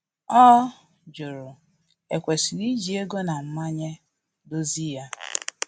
Ọ jụrụ e kwesịrị iji ego na mmanye dozie ya